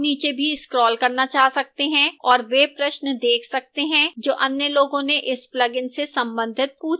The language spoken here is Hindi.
आप नीचे भी scroll करना चाह सकते हैं और वे प्रश्न देख सकते हैं जो अन्य लोगों ने इस plugin से संबंधित पूछे हैं